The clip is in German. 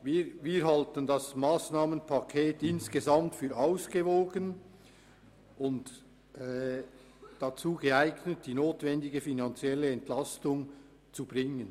Wir halten das Massnahmenpaket insgesamt für ausgewogen und dazu geeignet, die notwendige finanzielle Entlastung zu bringen.